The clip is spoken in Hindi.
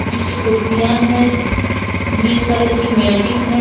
पीछे कुर्सियां है ग्रीन कलर की मैटिंग है।